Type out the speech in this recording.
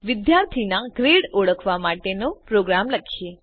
ચાલો વિદ્યાર્થીનાં ગ્રેડ ઓળખવા માટેનો પ્રોગ્રામ લખીએ